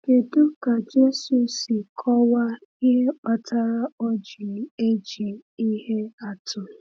Kedu ka Jésù si kọwaa ihe kpatara o ji eji ihe atụ?